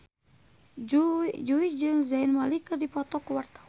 Jui jeung Zayn Malik keur dipoto ku wartawan